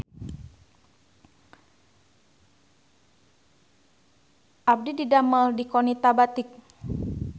Abdi didamel di Qonita Batik